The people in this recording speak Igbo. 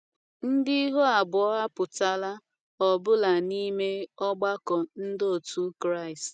ndi ihụ abụo apụtala ọbula n'ime ọgbako ndi otu kraist